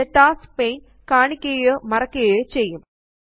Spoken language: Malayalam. ഇത് ടാസ്ക്സ് പാനെ കാണിക്കുകയോ മറയ്ക്കുകയോ ചെയ്യും